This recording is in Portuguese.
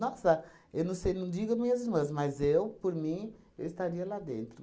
Nossa, eu não sei, não digo minhas irmãs, mas eu, por mim, eu estaria lá dentro.